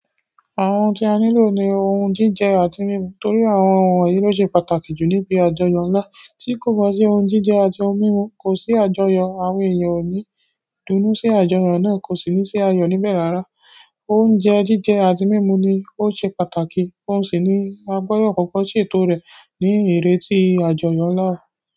Àwọn ohun tí a nílò ni ohun jíjẹ àti mímu. Nítorí àwọn wonyìí ló ṣe pàtàkì jù níbi àjọyọ̀ ńlá. Tí kò bá sí ohun jíjẹ àti ohun mímu, kò sí àjọyọ̀. Àwọn o ni dùn inú si àjọyọ̀ náà, ko si ni si ayo níbẹ̀ rara. Oúnjẹ jíjẹ àti mímu ni ó ṣe pàtàkì, óun sì ní agbodọ̀ kọ̀ko ṣètò rẹ̀ ní ìreti àjọyọ̀ ńlá.